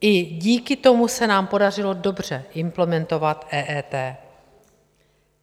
I díku tomu se nám podařilo dobře implementovat EET.